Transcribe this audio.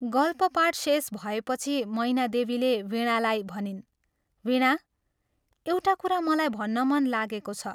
गल्पपाठ शेष भएपछि मैनादेवीले वीणालाई भनिन् " वीणा, एउटा कुरा मलाई भन्न मन लागेको छ।